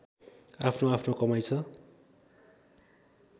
आफ्नोआफ्नो कमाइ छ